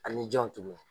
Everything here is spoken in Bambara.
Ani jan tuguni